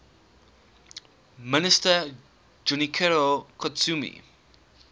minister junichiro koizumi